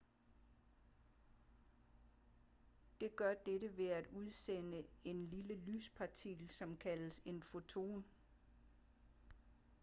det gør dette ved at udsende en lille lyspartikel som kaldes en foton